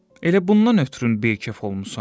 Elə bundan ötrü beykef olmusan?